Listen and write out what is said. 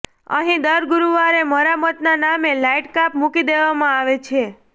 અહિ દર ગુરૃવારે મરામતના નામે લાઈટકાપ મુકી દેવામાં આવે છે